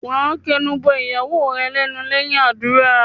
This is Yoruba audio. Wà á kẹnu bọ ìyàwó rẹ lẹ́nu lẹ́yìn àdúrà.